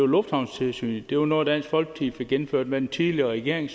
lufthavnstilsynet det var noget dansk folkeparti fik indført med den tidligere regering